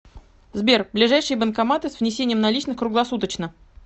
сбер ближайшие банкоматы с внесением наличных круглосуточно